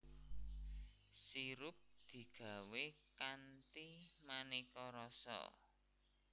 Sirup digawé kanthi manéka rasa